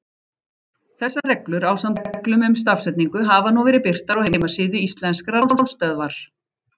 Þessar reglur, ásamt reglum um stafsetningu, hafa nú verið birtar á heimasíðu Íslenskrar málstöðvar.